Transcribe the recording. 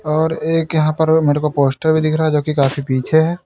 और एक यहां पर मेरे को पोस्टर भी दिख रहा है जो कि काफी पीछे है।